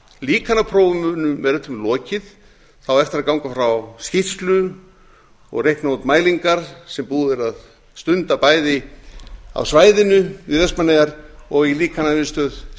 líkanaprófum er öllum lokið það á eftir að ganga frá skýrslu og reikna út mælingar sem búið er að stunda bæði á svæðinu við vestmannaeyjar og í